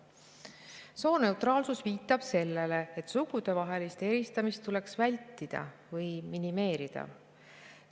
Sooneutraalsus viitab sellele, et sugudevahelist eristamist tuleks vältida või minimeerida.